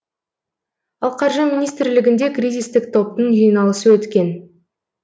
ал қаржы министрлігінде кризистік топтың жиналысы өткен